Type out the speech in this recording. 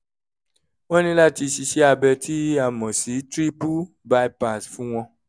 wọ́n ní láti ṣe iṣẹ́ abẹ tí a mọ̀ sí triple bypass fún wọn